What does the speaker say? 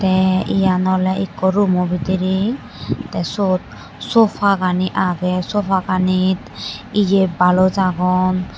te eyan ole ekko rumo bidire te sot sofa gani agey sofa ganot ye balos agon.